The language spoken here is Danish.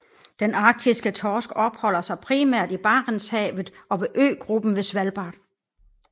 Den arktiske torsk opholder sig primært i Barentshavet og ved øgruppen ved Svalbard